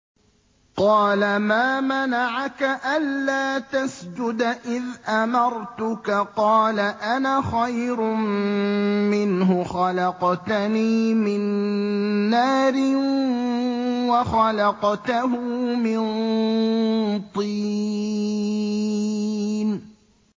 قَالَ مَا مَنَعَكَ أَلَّا تَسْجُدَ إِذْ أَمَرْتُكَ ۖ قَالَ أَنَا خَيْرٌ مِّنْهُ خَلَقْتَنِي مِن نَّارٍ وَخَلَقْتَهُ مِن طِينٍ